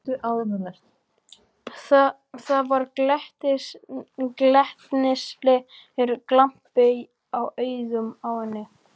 Það var glettnislegur glampi í augunum á henni.